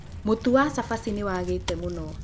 Mũtu wa cabaci nĩ wagĩte mũno